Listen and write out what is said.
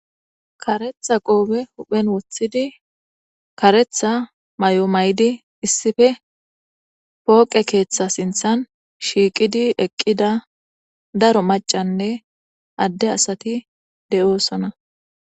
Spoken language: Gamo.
Kareththa qoobe huphen woththidi kareththa may7o may7di issife pooqe keeththa sinththan shiiqidi eqqida daro maccanne adde asathi de7oosona.